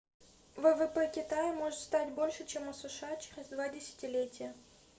ввп китая может стать больше чем у сша через два десятилетия